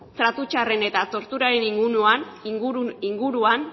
tratu txarren eta torturaren inguruan